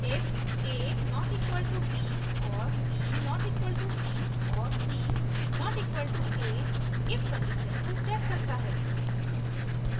if $a != $b और $a != $c और $a != $a if condition को checks करता है